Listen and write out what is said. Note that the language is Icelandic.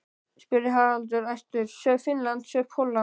spurði Haraldur æstur, sjáðu Finnland, sjáðu Pólland.